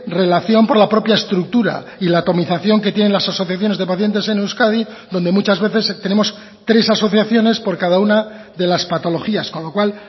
relación por la propia estructura y la atomización que tienen las asociaciones de pacientes en euskadi donde muchas veces tenemos tres asociaciones por cada una de las patologías con lo cual